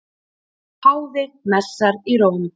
Páfi messar í Róm